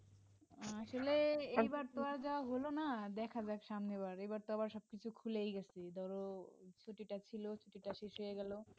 আসলে এইবার তো আর যাওয়া হলো না দেখা যাক সামনের বার এবার তো আবার সবকিছু খুলেই গেছে ধরো ছুটিটা ছিল ছুটি টা শেষ হয়ে গেল